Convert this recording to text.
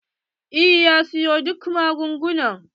Eh ya siyo duk magunguna.